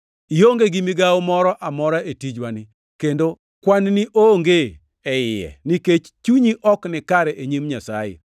Ionge gi migawo moro amora e tijwani, kendo kwan-ni onge e iye, nikech chunyi ok nikare e nyim Nyasaye.